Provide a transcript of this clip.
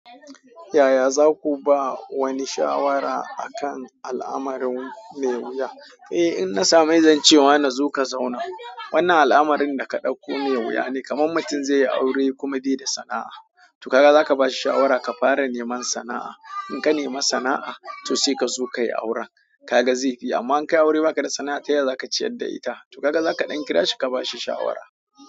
Yaya za ku ba wani shawara a kan al'amari mai wuya? Eh, in na samu mai zance wani zo ka zauna. Wannan al'amarin da ka dauko mai wuya ne, kamar mutum zai yi aure kuma bai da sana'a. To kaga zaka bashi shawara kafara neman sana'a. In ka nema sana'a to sai kazo kayi auren. Kaga zai fi, amma in ka yi aure ba ka da sana'a, ta yaya za ka ciyar da ita? To kaga zaka ɗan kirashi kabashi shawara.